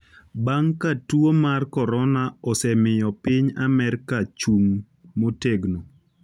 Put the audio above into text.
bang’ ka tuo mar korona osemiyo piny Amerka ochung’ motegno,